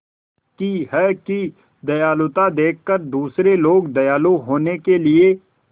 की है कि दयालुता देखकर दूसरे लोग दयालु होने के लिए